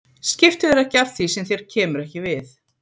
Skiftu þér ekki að því sem þér kemur ekki við.